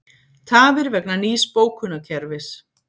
Tafir vegna nýs bókunarkerfis